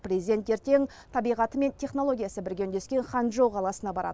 президент ертең табиғаты мен технологиясы бірге үндескен ханчжоу қаласына барады